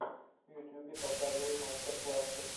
в ютубе показывай мастер классы